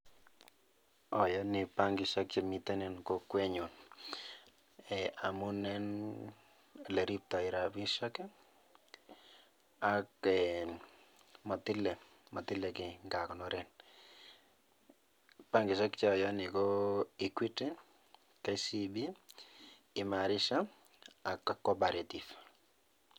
Ayani bankishek che miten en kokwenyun amunen oleriptoi rapishek ak motile kei ngakonoren. Bankishek che ayani ko equity, kcb,imarisha ak co-operative.